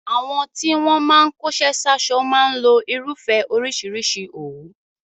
Àwọn tí wọ́n máa ń kóṣẹ́ sáṣọ máa ń lo irúfẹ́ oríṣìíríṣìí òwú.